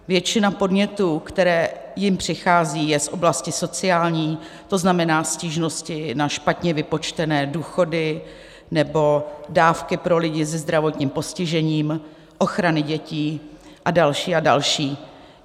Většina podnětů, které jim přichází, je z oblasti sociální, to znamená stížnosti na špatně vypočtené důchody nebo dávky pro lidi se zdravotním postižením, ochrany dětí a další a další.